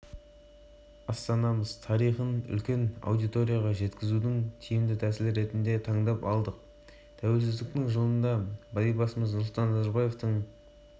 астана әкімдігі қазақстан республикасы тәуелсіздігінің жылдығына орай жасаған веб-деректі жобада егеменді ел болу жолындағы айтулы оқиғаларды